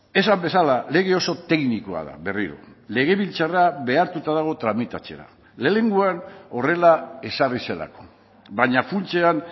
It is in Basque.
esan bezala lege oso teknikoa da berriro legebiltzarra behartuta dago tramitatzera lehenengoan horrela ezarri zelako baina funtsean